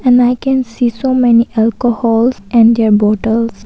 And I can see so many alcohols and their bottles.